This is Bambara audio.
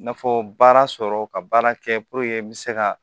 N'a fɔ baara sɔrɔ ka baara kɛ n bɛ se ka